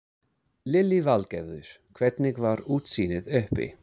Lillý Valgerður: Hvernig var útsýnið uppi?